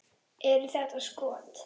Eru þetta skot.